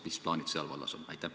Mis plaanid selles vallas on?